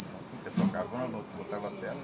Então tinha um pessoal cavando, outros botava tela.